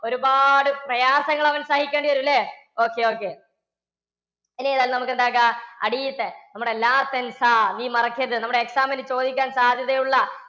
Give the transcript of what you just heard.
ഒരുപാട് പ്രയാസങ്ങൾ അവൻ സഹിക്കേണ്ടി വരും അല്ലേ ഒക്കെ okay, okay ഇനി എന്തായാലും നമുക്ക് എന്ത് ആക്കുക, അടിയിലത്തെ നമ്മുടെ മറക്കരുത്. നമ്മുടെ exam ന് ചോദിക്കാൻ സാധ്യതയുള്ള